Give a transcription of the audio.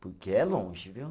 Porque é longe, viu?